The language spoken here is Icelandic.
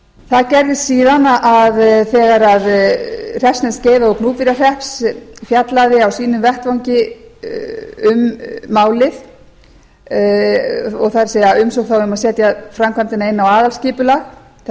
það gerðist síðan að þegar hreppsnefnd skeiða og gnúpverjahrepps fjallaði á sínum vettvangi um málið það er umsókn var um að setja framkvæmdina inn á aðalskipulag þar sem miðað